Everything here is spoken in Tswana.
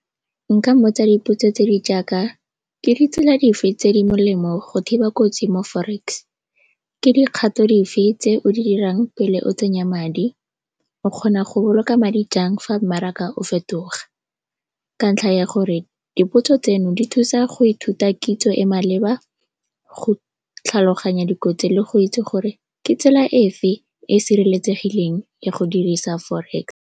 Nka mmotsa dipotso tse di jaaka, ke ditsela dife tse di molemo go thiba kotsi mo forex? Ke dikgato dife tse o di 'irang pele o tsenya madi? O kgona go boloka madi jang fa mmaraka o fetoga? Ka ntlha ya gore dipotso tseno di thusa go ithuta kitso e maleba go tlhaloganya dikotsi le go itse gore ke tsela efe e e sireletsegileng ya go dirisa forex.